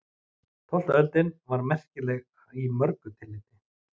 Tólfta öldin var merkileg í mörgu tilliti.